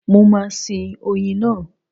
Mo máa sin oyin náà.